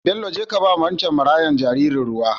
Bello jeka kaba wancen marayan jaririn ruwa